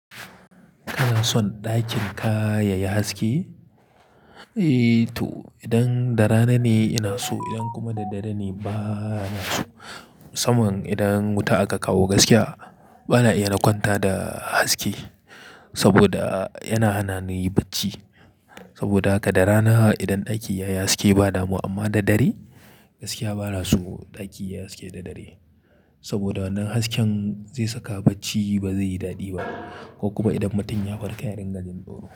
Kana son ɗakin ka yayi haske? Eh to idan da rana ne ina so idan kuma da dare ne bana so. Saman idan wuta aka kawo gaskiya bana iya na kwanta da haske. Saboda yana hana ni yin bacci. Saboda haka da rana idan ɗaki yayi haske ba damuwa. Amma da dare gaskiya bana so ɗaki yayi haske da dare. Saboda wannan hasken zai saka bacci ba zai yi daɗi ba. Ko kuma idan mutum ya farka yarin gajin dauro.